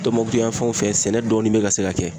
Tɔnbɔkutu yan fanw fɛ sɛnɛ dɔɔni be ka se ka kɛ.